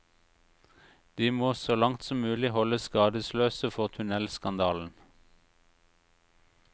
De må så langt som mulig holdes skadesløse for tunnelskandalen.